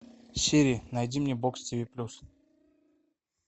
сири найди мне бокс тв плюс